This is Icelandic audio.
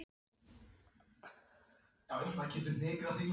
Ég held með þeim sem mér sýnist!